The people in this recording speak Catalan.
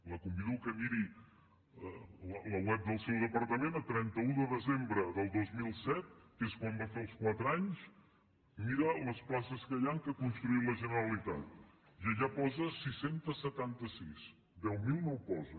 la convido que miri el web del seu departament a trenta un de desembre del dos mil set que és quan va fer els quatre anys mira les places que hi han que ha construït la generalitat i allà posa sis cents i setanta sis deu mil no ho posa